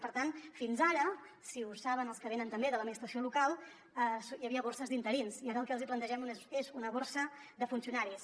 per tant fins ara ho saben els que venen també de l’administració local hi havia borses d’interins i ara el que els hi plantegem és una borsa de funcionaris